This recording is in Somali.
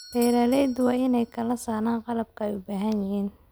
Beeraleydu waa inay kala saaraan qalabka ay u baahan yihiin.